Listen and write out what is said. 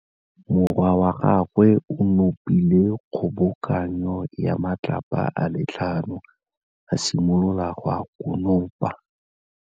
Morwa wa gagwe o nopile kgobokanô ya matlapa a le tlhano, a simolola go konopa.